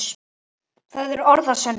Það eru orð að sönnu.